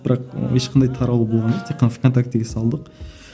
бірақ і ешқандай таралу болған тек қана в контактіге салдық